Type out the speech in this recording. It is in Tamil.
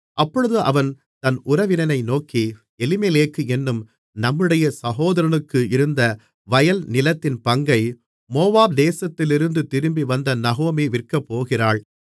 அப்பொழுது அவன் அந்த உறவினனை நோக்கி எலிமெலேக் என்னும் நம்முடைய சகோதரனுக்கு இருந்த வயல்நிலத்தின் பங்கை மோவாப் தேசத்திலிருந்து திரும்பி வந்த நகோமி விற்கப்போகிறாள்